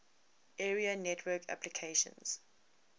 area network applications